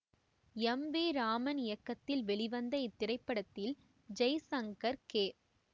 M V Raman இயக்கத்தில் வெளிவந்த இத்திரைப்படத்தில் ஜெய்சங்கர் கே